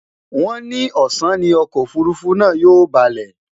wón ni ọsán ní Ọkọ òfurufú náà yóò baalé